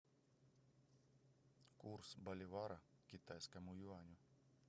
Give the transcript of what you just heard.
курс боливара к китайскому юаню